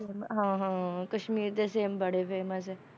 ਹਾਂ ਹਾਂ ਕਸ਼ਮੀਰ ਦੇ ਸੇਬ ਬੜੇ famous ਹੈ,